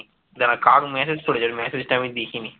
না কাক message করেছে, message টা আমি দেখিনি